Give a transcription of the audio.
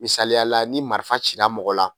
Misayala ni marifa cila mɔgɔ la.